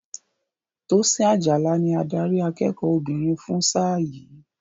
Tosin Ajala ni adarí akẹ́kọ̀ọ́ obìnrin fún sáà yìí.